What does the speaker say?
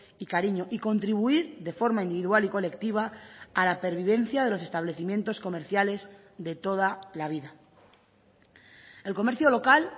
y cariño y contribuir de forma individual y colectiva a la pervivencia de los establecimientos comerciales de toda la vida el comercio local